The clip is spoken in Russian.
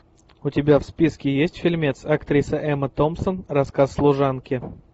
у тебя в списке есть фильмец актриса эмма томпсон рассказ служанки